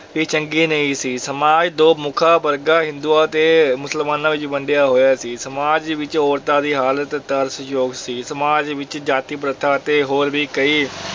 ਵੀ ਚੰਗੀ ਨਹੀਂ ਸੀ, ਸਮਾਜ ਦੋ ਮੁੱਖ ਵਰਗਾਂ ਹਿੰਦੂਆਂ ਤੇ ਮੁਸਲਮਾਨਾਂ ਵਿੱਚ ਵੰਡਿਆ ਹੋਇਆ ਸੀ, ਸਮਾਜ ਵਿੱਚ ਔਰਤਾਂ ਦੀ ਹਾਲਤ ਤਰਸਯੋਗ ਸੀ, ਸਮਾਜ ਵਿੱਚ ਜਾਤੀ ਪ੍ਰਥਾ ਤੇ ਹੋਰ ਵੀ ਕਈ